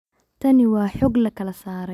Tani waa xog lakala saaray.